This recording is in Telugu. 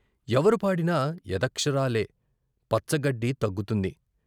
ఎవరు పాడినా ఏదక్షరాలే పచ్చగడ్డి తగ్గుతుంది.